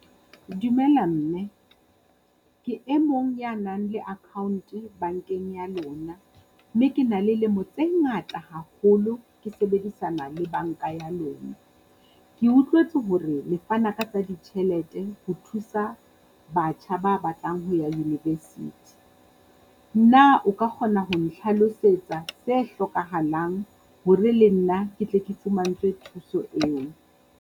Dumela mme. Ke e mong ya nang le account-e bankeng ya lona mme ke na le lemo tse ngata haholo ke sebedisana le banka ya lona. Ke utlwetse hore le fana ka tsa ditjhelete ho thusa batjha ba batlang ho ya university. Na o ka kgona ho nhlalosetsa se hlokahalang hore le nna ke tle ke fumantswe thuso eo?